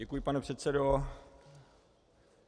Děkuji, pane předsedo.